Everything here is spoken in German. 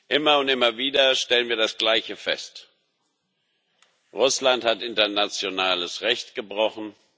Immer und immer wieder stellen wir das Gleiche fest Russland hat internationales Recht gebrochen.